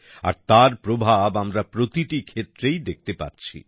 আর তার প্রভাব আমরা প্রতিটি ক্ষেত্রেই দেখতে পাচ্ছি